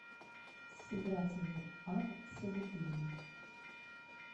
сыграть в апп собутыльник